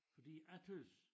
Fordi jeg tøs